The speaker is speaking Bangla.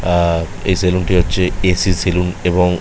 অ্যা এই সেলুনটি হচ্ছে এ. সি. সেলুন এবং--